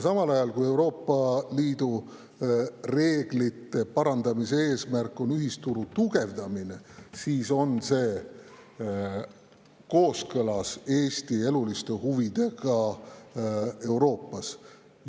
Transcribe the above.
Samas, kui Euroopa Liidu reeglite parandamise eesmärk on ühisturu tugevdamine, siis on see kooskõlas Eesti eluliste huvidega Euroopas.